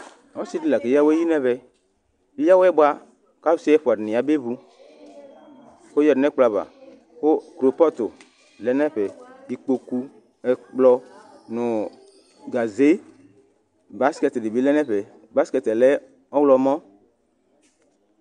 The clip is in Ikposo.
Ɔsidi lakeya awɛyi nʋ ɛvɛ, eya awɛ bʋa kʋ alʋ ɛfʋadi yabe vʋ kʋ oyadʋ nʋ ɛkplɔ ava Kʋ krepɔtʋ lɛnʋ ɛfɛ, ikpokʋ, ɛkplɔ nʋ gaze, baskɛt dibi lɛnʋ ɛfɛ Baskɛt yɛ lɛ ɔwlɔmɔ